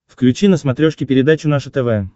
включи на смотрешке передачу наше тв